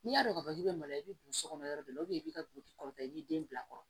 N'i y'a dɔn ka fɔ k'i bɛ mali la i bɛ burusi kɔnɔ yɔrɔ dɔ la i b'i ka buguti kɔrɔ i b'i den bila a kɔrɔ